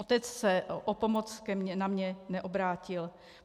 Otec se o pomoc na mě neobrátil.